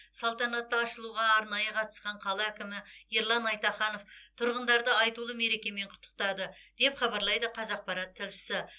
салтанатты ашылуға арнайы қатысқан қала әкімі ерлан айтаханов тұрғындарды айтулы мерекемен құттықтады деп хабарлайды қазақпарат тілшісі